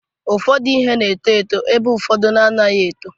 Ụfọdụ ihe na-eto eto ebe ụfọdụ anaghị eto.